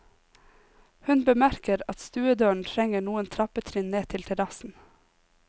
Hun bemerker at stuedøren trenger noen trappetrinn ned til terrassen.